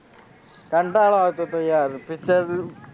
કંટાળો આવતો તો યાર picture